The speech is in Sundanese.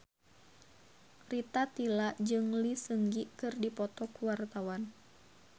Rita Tila jeung Lee Seung Gi keur dipoto ku wartawan